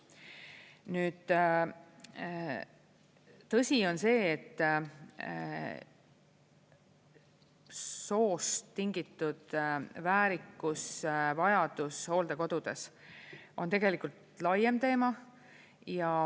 Nüüd, tõsi on see, et soost tingitud väärikuse vajadus hooldekodudes on tegelikult laiem teema.